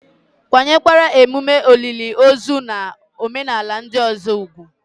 Kwanyere ememe olili ozu na omenala ndị ọzọ ùgwù